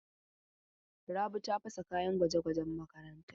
Rabi ta fasa kayan gwaje-gwajen makaranta.